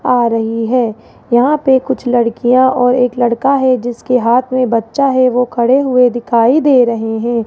आ रही है यहां पे कुछ लड़कियां और एक लड़का है जिसके हाथ में बच्चा है वो खड़े हुए दिखाई दे रहे है।